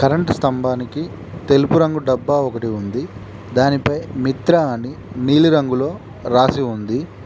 Current స్తంభానికి తెలుపు రంగు డబ్బా ఒకటి ఉంది దానిపై మిత్ర అని నీలిరంగులో రాసి ఉంది.